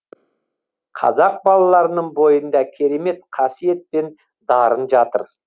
қазақ балаларының бойында керемет қасиет пен дарын жатыр